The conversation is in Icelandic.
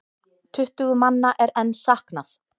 Tuttugu manna er enn saknað.